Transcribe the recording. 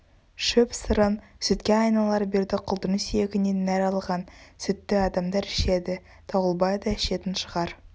шөп шырын сүтке айналар бердіқұлдың сүйегінен нәр алған сүтті адамдар ішеді дауылбай да ішетін шығар